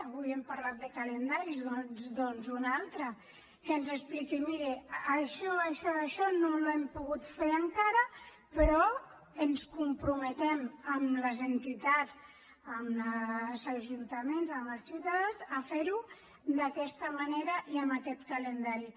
avui hem parlat de calendaris doncs un altre que ens expliqui miri això això i això no ho hem pogut fer encara però ens comprometem amb les entitats amb els ajuntaments amb els ciutadans a ferho d’aquesta manera i amb aquest calendari